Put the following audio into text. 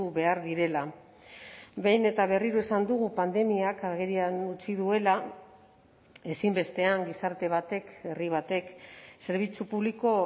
behar direla behin eta berriro esan dugu pandemiak agerian utzi duela ezinbestean gizarte batek herri batek zerbitzu publiko